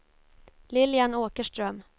Lilian Åkerström